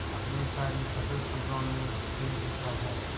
अपनी सारी कसक शब्दों में बिखेर देता है